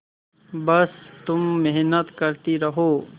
बस तुम मेहनत करती रहो